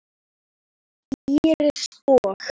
Íris og